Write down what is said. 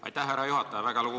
Aitäh, härra juhataja!